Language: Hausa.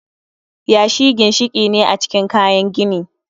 Yashi ginshiki ne a cikin kayan gini